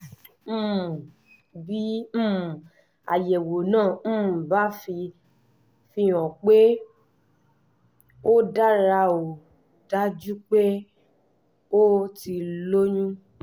um bí um àyẹ̀wò náà um bá fihàn pé ó dára ó dájú pé o ti lóyún